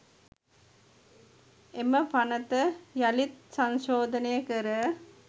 එම පනත යළිත් සංශෝධනය කර